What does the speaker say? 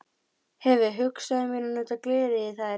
Sveiney, læstu útidyrunum.